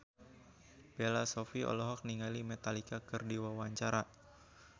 Bella Shofie olohok ningali Metallica keur diwawancara